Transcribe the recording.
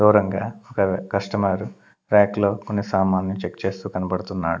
దూరంగా ఒక customer rack లో కొన్ని సమన్లు చెక్ చేస్తూ కనపడుతున్నాడు.